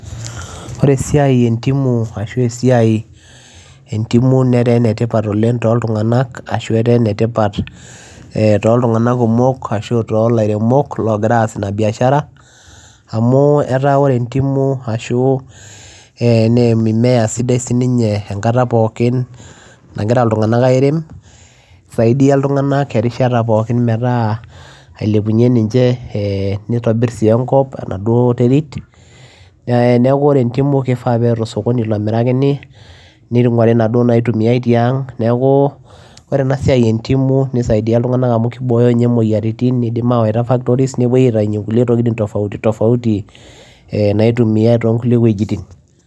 Oree esiai ee ndimu neetaa ene tipat too ilntunganak too ilaremok ogiraa as ina biashara amuu oree ndimu naa mimea sidai enkataa pookin nagira ilntunganak airem nitobirr enkop neeku enetipat tenetumii osokonii nibooo sii imoyiaritin nitayuu si ntokitin tofauti teneyai factory naitumiyai